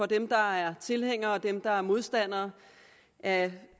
dem der er tilhængere og dem der er modstandere af